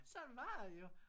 Sådan var det jo